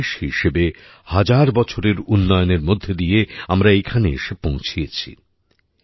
একটা দেশ হিসেবে হাজার বছরের উন্নয়নের মধ্যে দিয়ে আমারা এখানে এসে পৌঁছেছি